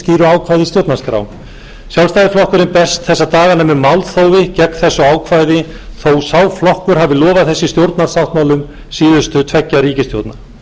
í stjórnarskrá sjálfstæðisflokkurinn berst þessa dagana með málþófi gegn þessu ákvæði þó sá flokkur hafi lofað þessu í stjórnarsáttmálum síðustu tveggja ríkisstjórna endurskoða þarf úthlutun aflaheimilda með aukið réttlæti í